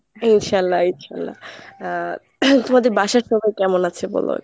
ইনশাল্লাহ ইনশাল্লাহ আ তোমাদের বাসার সবাই কেমন আছে বলো।